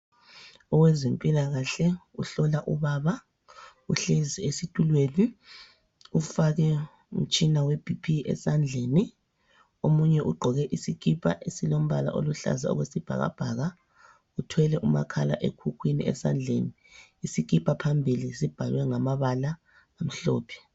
Owezempilakahle uhlola ubaba, uhlezi esitulweni ufake umtshina webhiphi esandleni. Omunye ugqoke isikipa esilombala oluhlaza okwesibhakabhaka. Uthwele umakhala ekhukhwini esandleni, isikipa phambili sibhalwe ngamabala amhlophe.